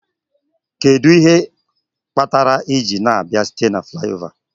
Kedu ihe kpatara iji na-abịa site na Fulaiova?